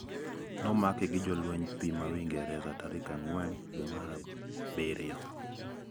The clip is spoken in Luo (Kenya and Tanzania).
Nomake gi jolweny pii ma Uingereza tarik ang`wen dwe mar abirio.